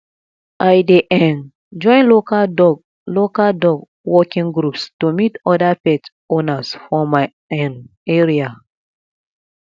i dey um join local dog local dog walking groups to meet other pet owners for my um area